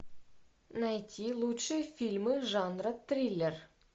найти лучшие фильмы жанра триллер